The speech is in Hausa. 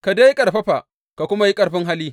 Ka dai ƙarfafa ka kuma yi ƙarfi hali!